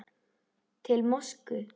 Til Moskvu